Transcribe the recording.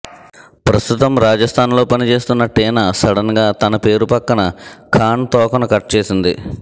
ప్రస్తుతం రాజస్తాన్ లో పనిచేస్తున్న టీనా సడెన్ గా తన పేరు పక్కన ఖాన్ తోకను కట్ చేసింది